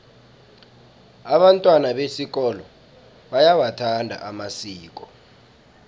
abantwana besikolo bayawathanda amasiko